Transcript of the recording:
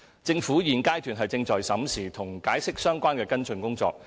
政府現階段正在審視與《解釋》相關的跟進工作。